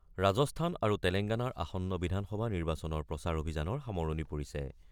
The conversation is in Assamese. ৰাজস্থান আৰু তেলেংগানাৰ আসন্ন বিধানসভা নিৰ্বাচনৰ প্ৰচাৰ অভিযানৰ সামৰণি পৰিছে।